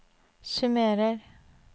summerer